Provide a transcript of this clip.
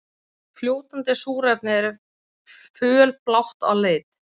Fljótandi súrefni er fölblátt að lit.